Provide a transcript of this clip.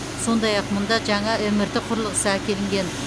сондай ақ мұнда жаңа мрт құрылғысы әкелінген